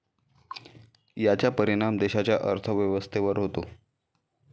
याचा परिणाम देशाच्या अर्थव्यवस्थेवर होतो.